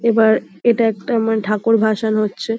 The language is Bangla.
এবার ইটা একটা মানে ঠাকুর ভাসান হচ্ছে।